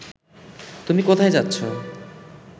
তুমি কোথায় যাচ্ছ